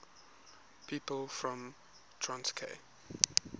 people from torquay